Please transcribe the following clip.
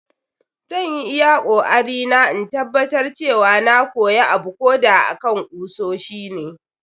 Zan yi iyakoarina in tabbatar cewa na koya abuko da akan kusoshi ne.